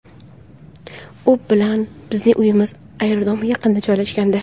U bilan bizning uyimiz aerodrom yaqinida joylashgandi.